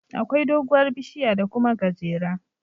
Akwai doguwar bishiya da Kuma gajera